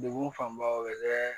Degun fanba bɛ